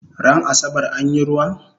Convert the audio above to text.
Ran asabar anyi ruwa?